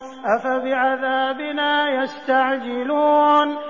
أَفَبِعَذَابِنَا يَسْتَعْجِلُونَ